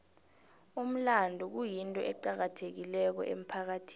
umlando kuyinto eqakathekileko emphakathini